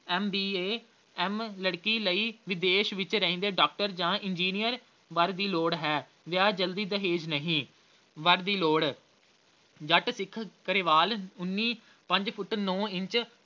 M. B. A, M ਲੜਕੀ ਲਈ ਵਿਦੇਸ਼ ਵਿੱਚ ਰਹਿੰਦੇ doctor ਜਾਂ engineer ਵਰ ਦੀ ਲੋੜ ਹੈ ਵਿਆਹ ਜਲਦੀ ਦਹੇਜ ਨਹੀਂ। ਵਰ ਦੀ ਲੋੜ ਜੱਟ ਸਿੱਖ ਗਰੇਵਾਲ ਉੱਨੀ ਪੰਜ ਫੁੱਟ ਨੌਂ ਇੰਚ